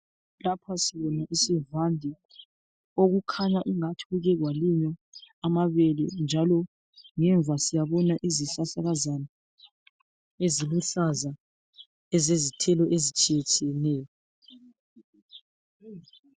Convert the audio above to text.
Lapha sibona isivande okukhanya ingathi kuke kwalinywa amabele njalo ngemva siyabona izihlahlakazana eziluhlaza ezezithelo ezitshiyetshiyeneyo.